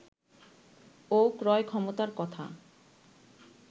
ও ক্রয় ক্ষমতার কথা